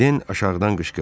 Den aşağıdan qışqırdı.